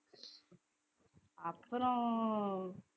அப்புறம்